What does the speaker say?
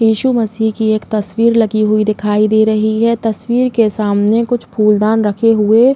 यीशु मसीह की एक तस्वीर लगी हुई दिखाई दे रही है। तस्वीर के सामने कुछ फूलदान रखे हुए --